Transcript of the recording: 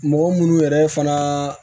Mɔgɔ munnu yɛrɛ fana